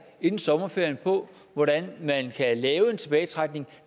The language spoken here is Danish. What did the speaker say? inden sommerferien om hvordan man kan lave en tilbagetrækning